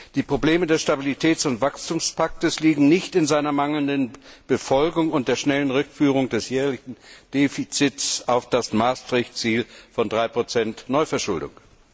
Die Probleme des Stabilitäts und Wachstumspakts liegen nicht in seiner mangelnden Befolgung und der schnellen Rückführung des jährlichen Defizits auf das Maastricht Ziel von 3 Neuverschuldung.